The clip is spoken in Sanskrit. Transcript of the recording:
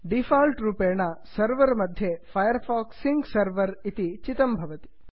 डिफाल्ट् रूपेण सर्वर सर्वर् मध्ये Firefox sync server Firefox sync server चितं भवति